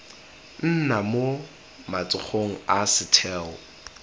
nna mo matsogong a setheo